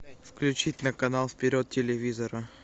включить на канал вперед телевизора